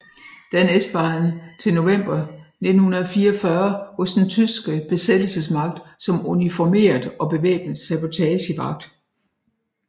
Dernæst var han til november 1944 hos den tyske besættelsesmagt som uniformeret og bevæbnet sabotagevagt